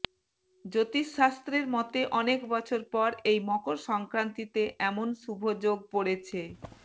জ্যোতিষ শাস্ত্রের মতে অনেক বছর পর এই মকর সংক্রান্তিতে এমন শুভ যোগ পড়েছে